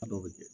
Dɔw bɛ kɛ